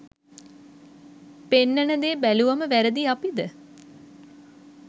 පෙන්නන දෙ බැලුවම වැරදි අපිද?